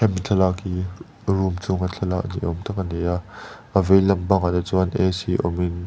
thlalak hi room chhunga thlalak ni awm tak a ni a a vei lampangah te chuanin a c awmin--